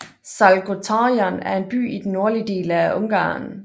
Salgótarján er en by i den nordlige del af Ungarn